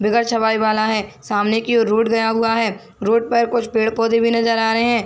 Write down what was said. बिगर छपाई वाला है सामने की ओर रोड गया हुवा है रोड पर कुछ पेड़ पौधे भी नजर आ रहै है।